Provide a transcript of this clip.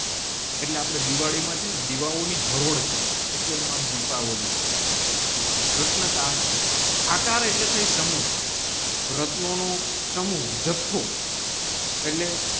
એટલે આપડે દિવાળી મા છેને દિવાઓ ની એટલે એનું નામ દીપાવલી રત્નાકર આકાર એટલે થાય સૌ રત્નોનું સમૂહ જથ્થો એટલે